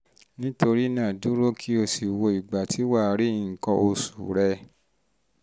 nítorí náà dúró kó o sì wo ìgbà tí wà á rí nǹkan oṣù nǹkan oṣù rẹ